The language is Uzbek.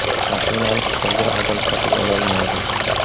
Mashinani istalgan odam sotib ololmaydi.